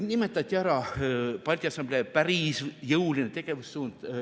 Nimetati ära Balti Assamblee päris jõuline tegevussuund.